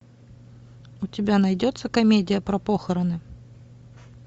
у тебя найдется комедия про похороны